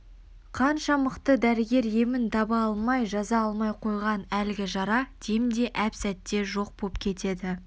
қанша мықты дәрігер емін таба алмай жаза алмай қойған әлгі жара демде әп-сәтте жоқ боп кетеді